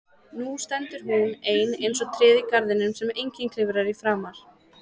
Nú stendur hún ein eins og tréð í garðinum sem enginn klifrar í framar.